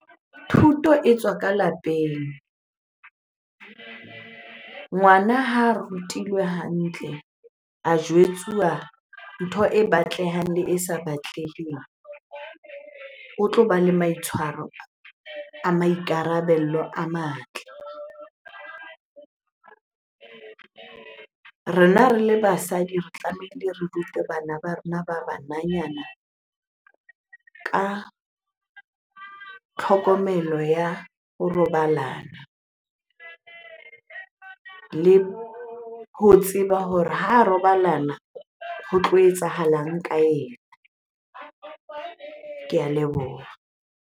Thuto e tswa ka lapeng. Ngwana ha rutilwe hantle, a jwetsuwa ntho e batlehang le e sa batleheng, o tlo ba le maitshwaro a maikarabelo a matle. Rena re le basadi re tlamehile re rute bana ba rona ba bananyana ka tlhokomelo ya ho robalana le ho tseba hore ha robalana ho tlo etsahalang ka ena. Ke a leboha.